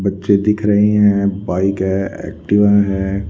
बच्चे दिख रही हैं बाइक है एक्टिवा है।